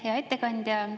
Hea ettekandja!